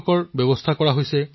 বিদ্যালয়সমূহক জড়িত কৰোৱা হৈছে